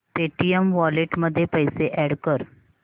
Paytm wallet मध्ये पैसे add कर